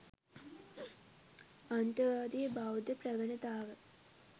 අන්තවාදී බෞද්ධ ප්‍රවණතාව